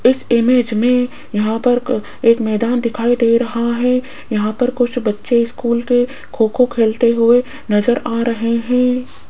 इस इमेज में यहां पर एक मैदान दिखाई दे रहा है यहां पर कुछ बच्चे स्कूल के खो खो खेलते हुए नजर आ रहे हैं।